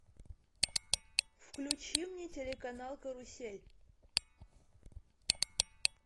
включи мне телеканал карусель